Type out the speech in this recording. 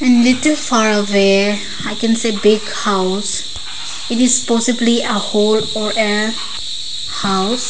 little far away i can see big house it is possibly a hall or a house.